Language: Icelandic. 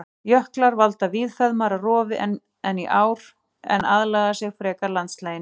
Jöklar valda víðfeðmara rofi en ár en aðlaga sig frekar landslaginu.